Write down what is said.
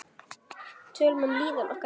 Tölum um líðan okkar.